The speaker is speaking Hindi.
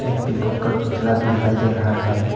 पीकॉक का पुतला भी दिखाई दे रहा है।